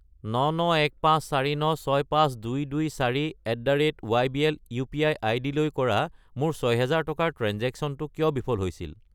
99154965224@ybl UPI. আইডিলৈ কৰা মোৰ 6000 টকাৰ ট্ৰেঞ্জেক্শ্য়নটো কিয় বিফল হৈছিল?